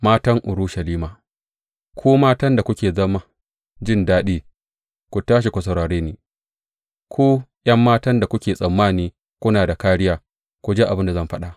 Matan Urushalima Ku matan da kuke zaman jin daɗi, ku tashi ku saurare ni; ku ’yan matan da kuke tsammani kuna da kāriya, ku ji abin da zan faɗa!